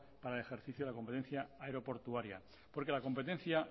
para el ejercicio de la competencia aeroportuaria porque la competencia